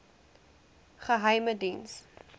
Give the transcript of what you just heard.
geheimediens